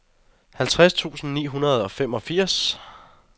halvtreds tusind ni hundrede og femogfirs